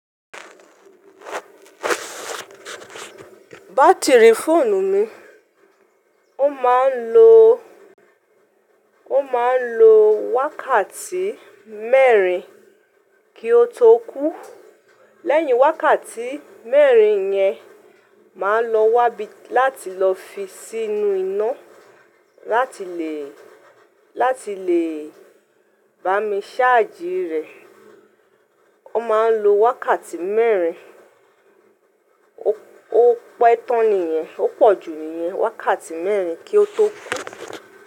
Batiri fóònù mi, ó máa ń lo, ó máa ń lo wákàtí mẹ́rin kí ó tó kú. Lẹ́yìn wákàtí mẹ́rin yẹn, màá lọ wá bí láti lọ fi sínú iná láti lè, láti lè bá mi ṣáàjì rẹ̀. Ó máa ń lo wákàtí mẹ́rin. Ó pẹ́ tán nìyẹn, ó pọ̀jù nìyẹn. Wákàtí mẹ́rin kí ó tó kú.